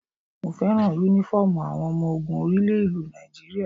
Mo fẹ́ràn Únífọ́ọ̀mù àwọn ọmọ ogun orí ilẹ̀ ìlú Nigeria